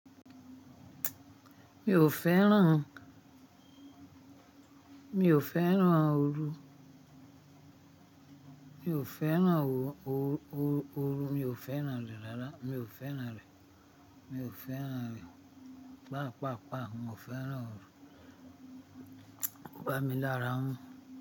Mi ò fẹ́ràn, mi ò fẹ́ràn ooru, mi ò fẹ́ràn ooru, mi ò fẹ́ràn rẹ̀ rárá, mi ò fẹ́ràn rẹ̀, mi ò fẹ́ràn rẹ̀. Pàápàá, mo fẹ́ràn ooru. Ko bami mi lára mú.